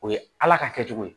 O ye ala ka kɛ cogo ye